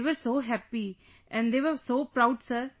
They were so happy and they were so proud sir